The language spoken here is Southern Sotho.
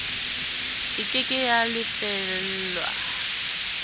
e ke ke ya lefellwa